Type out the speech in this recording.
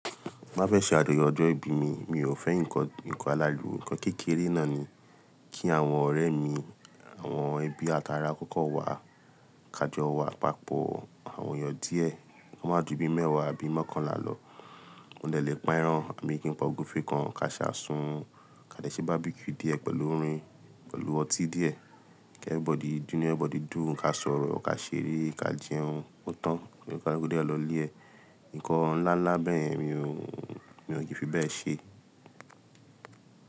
Ti ba fẹ́ ṣe àdúyọ ọjọ́ ìbí mi, mi ò fẹ́ nǹkan aláriwo, nǹkan kékeré náà ni. Kí àwọn ọ̀rẹ́ mi, àwọn ẹbí àti ará kọ́kọ́ wá, ká jọ wá papọ̀ àwọn èèyàn díẹ̀, kí wọ́n má ju bí mẹ́wàá àbí mọ́kànlá lọ. Mó dè lépa ẹran, àbí kin pá ọ́gúfẹ̀ kan, ká sa sùn, ká dẹ̀ se barbecue díẹ̀ pẹ̀lú orin, pẹ̀lú ọtí díẹ̀, kí inú everybody dùn, ká sọ̀rọ̀, ká ṣeré, ká jẹun, ó tán kí òní kaluku dé lọ lè ẹ. Nǹkan ńlá ńlá bẹ́ẹ̀ yen mi ò, mi ò kí fi bẹ́ẹ̀ ṣe.